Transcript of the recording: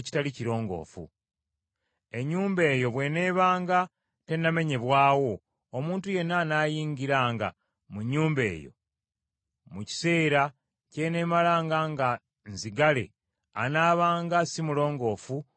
Ennyumba eyo bw’eneebanga tennamenyebwawo, omuntu yenna anaayingiranga mu nnyumba eyo mu kiseera ky’eneemalanga nga nzigale anaabanga si mulongoofu okutuusa akawungeezi.